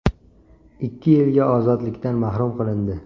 ikki yilga ozodlikdan mahrum qilindi.